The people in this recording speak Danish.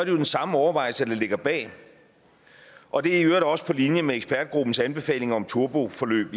jo den samme overvejelse der ligger bag og det er i øvrigt også på linje med ekspertgruppens anbefaling om turboforløb